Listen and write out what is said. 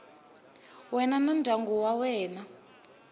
wena na ndyangu wa wena